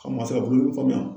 Ka ma se ka bolodimi faamuya.